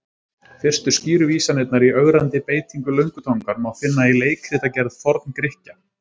Fyrstu skýru vísanirnar í ögrandi beitingu löngutangar má finna í leikritagerð Forn-Grikkja.